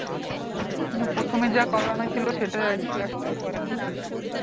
মানে প্রথমে যা করানো ছিল সেটাই আজকে একটাও করানো হয়নি এখনো